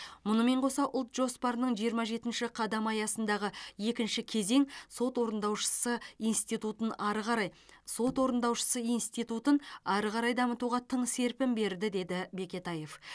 мұнымен қоса ұлт жоспарының жиырма жетінші қадамы аясындағы екінші кезең сот орындаушысы институтын ары қарай сот орындаушысы институтын ары қарай дамытуға тың серпін берді деді бекетаев